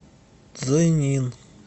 цзинин